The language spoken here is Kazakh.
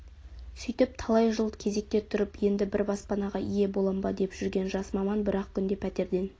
сөйтіп талай жыл кезекте тұрып енді бір баспанаға ие болам ба деп жүрген жас маман бір-ақ күнде пәтерден